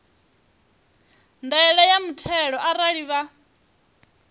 ndaela ya muthelo arali vha